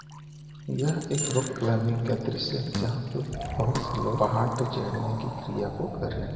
यह एक rock climbing का दृश्य जहाँ पर बहोत से लोग पहाड़ पर चढ़ने की क्रिया को कर रहे हैं।